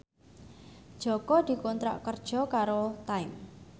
Jaka dikontrak kerja karo Time